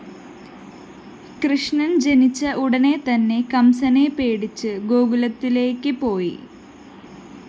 കൃഷ്ണൻ ജനിച്ച ഉടനെ തന്നെ കംസനെ പേടിച്ചു ഗോകുലത്തിലേയ്ക്ക് പോയി